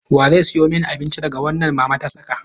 Wa zai siyo mani abinci daga wannan mama ta saka?